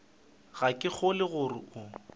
ga ke kgolwe gore o